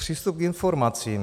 Přístup k informacím.